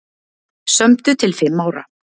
Sömdu til fimm ára